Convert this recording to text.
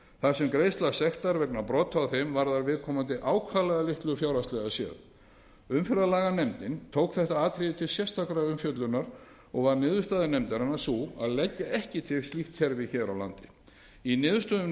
þar sem greiðsla sektar vegna brota á þeim varðar viðkomandi ákaflega litlu fjárhagslega umferðarlaganefndin tók þetta atriði til sérstakrar umfjöllunar og varð niðurstaða nefndarinnar sú að leggja ekki til slíkt kerfi hér á landi í niðurstöðum